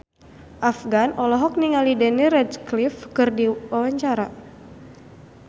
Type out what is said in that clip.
Afgan olohok ningali Daniel Radcliffe keur diwawancara